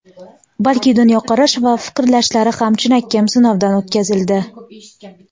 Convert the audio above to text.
balki dunyoqarash va fikrlashlari ham chinakam sinovdan o‘tkazildi.